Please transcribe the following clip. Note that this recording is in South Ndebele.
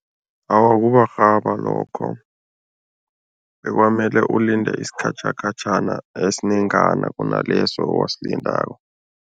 Awa, kuwarhaba lokho kwamele ulinde isikhatjhakhatjhana esinengana kunaleso owasilindako.